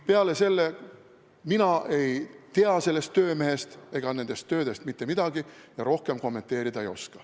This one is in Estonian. Peale selle, mina ei tea sellest töömehest ega nendest töödest mitte midagi ja rohkem kommenteerida ei oska.